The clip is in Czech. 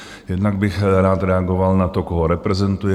Jednak bych rád reagoval na to, koho reprezentuji.